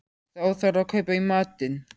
Þá þarf að kaupa í matinn